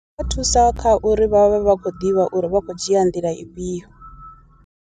Zwia thusa kha uri vhavhe vha khou ḓivha uri vha khou dzhia nḓila ifhio.